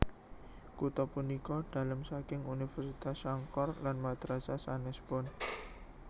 Kutha punika dalem saking Universitas Sankore lan madrasah sanèspun